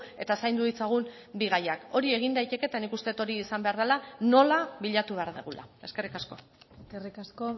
eta zaindu ditzagun bi gaiak hori egin daiteke eta nik uste dut hori izan behar dela nola bilatu behar dugula eskerrik asko eskerrik asko